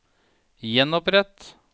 gjenopprett